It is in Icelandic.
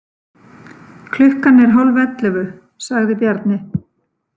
Klukkan er hálfellefu, sagði Bjarni.